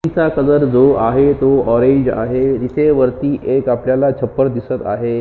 जो कलर आहे तो ऑरेंज आहे इथे वरती आपल्याला छपर दिसत आहे.